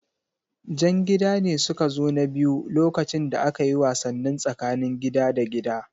Jan gida ne suka zo na biyu lokacin da akayi wasannin tsakanin gida da gida